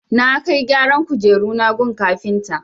Na kai gyaran kujeruna gun kafinta.